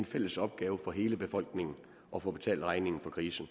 fælles opgave for hele befolkningen at få betalt regningen for krisen